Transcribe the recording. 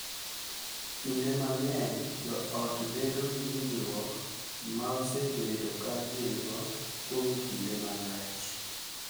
Kinde mang’eny, jo ot bedo gi winjruok ma osebedo ka gin-go kuom kinde malach